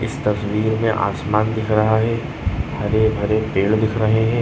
इस तस्वीर में आसमान दिख रहा है हरे भरे पेड़ दिख रहे हैं।